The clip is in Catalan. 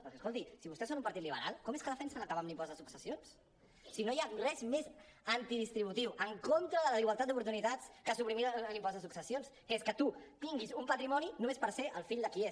perquè escolti si vostès són un partit liberal com és que defensen acabar amb l’impost de successions si no hi ha res més antidistributiu en contra de la igualtat d’oportunitats que suprimir l’impost de successions que és que tu tinguis un patrimoni només per ser el fill de qui ets